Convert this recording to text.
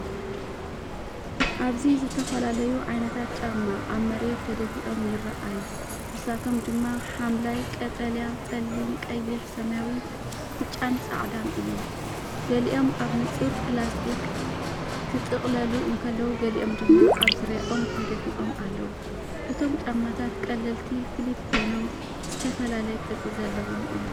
ኣብዚ ዝተፈላለዩ ዓይነታት ጫማ ኣብ መሬት ተደፊኦም ይረኣዩ። ንሳቶም ድማ ሐምላይ፡ ቀጠልያ፡ጸሊም፡ቀይሕ፡ሰማያዊ፡ ብጫን ጻዕዳን እዮም። ገሊኦም ኣብ ንጹር ፕላስቲክ ክጥቕለሉ እንከለዉ፡ ገሊኦም ድማ ኣብ ዙርያኦም ተደፊኦም ኣለዉ። እቶም ጫማታት ቀለልቲ ፍሊፕ ኮይኖም ዝተፈላለየ ቅርጺ ዘለዎም እዮም።